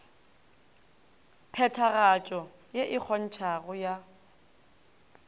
phethagatšo ye e kgontšhago ya